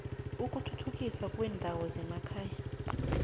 ukuthuthukiswa kweendawo zemakhaya